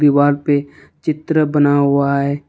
दीवाल पे चित्र बना हुआ है।